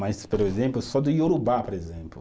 Mas, por exemplo, só do Iorubá, por exemplo.